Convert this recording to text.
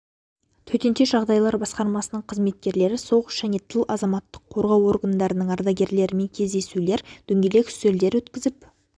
төтенше жағдайлар басқармасының қызметкерлері соғыс және тыл азаматтық қорғау органдарының ардагерлерімен кездесулер дөңгелек үстелдер өткізіп